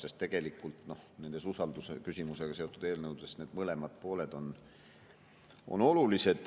Sest tegelikult nendes usaldusküsimusega seotud eelnõudes on need mõlemad pooled olulised.